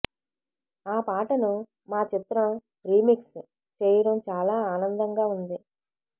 ఆ పాటను మా చిత్రం రీమిక్స్ చేయడం చాలా ఆనందంగా ఉంది